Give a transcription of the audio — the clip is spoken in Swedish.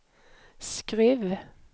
Skruv